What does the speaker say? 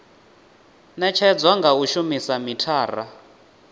netshedzwa nga u shumisa mithara